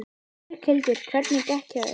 Berghildur: Hvernig gekk hjá þér?